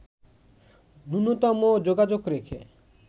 নূন্যতম যোগাযোগ রেখে